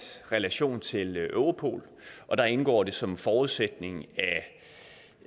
relation til europol og der indgår det som en forudsætning